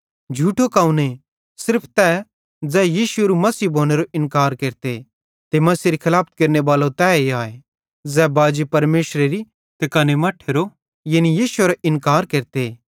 झूठो कौने सिर्फ तै ज़ै यीशु एरू मसीह भोनेरो इन्कार केरते ते मसीहेरी खलाफत केरनेबालो तैए आए ज़ै बाजी परमेशरेरी ते कने मट्ठेरो यानी यीशुएरो इन्कार केरते